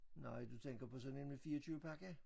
Nej du tænker på sådan en med 24 pakker?